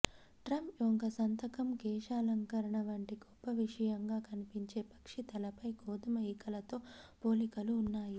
Trump యొక్క సంతకం కేశాలంకరణ వంటి గొప్ప విషయంగా కనిపించే పక్షి తలపై గోధుమ ఈకలతో పోలికలు ఉన్నాయి